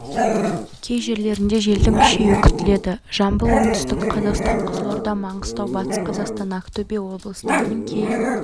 кей жерлерінде желдің күшеюі күтіледі жамбыл оңтүстік қазақстан қызылорда маңғыстау батыс қазақстан ақтөбе облыстарының кей